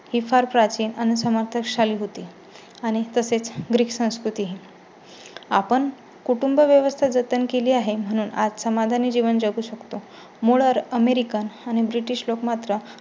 ही फार प्राचीन आणि सामर्थ्य शाली होती आणि तसे ग्रीक संस्कृतीही. आपण कुटुंबव्यवस्था जतन केली आहे म्हणून आज समाधानी जीवन जगू शकतो. मूळ अमेरिकन आणि ब्रिटिश लोक मात्र